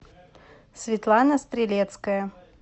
светлана стрелецкая